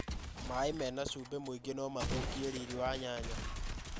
Maĩ mena cumbĩ mũingĩ no mathũkie riri wa nyanya.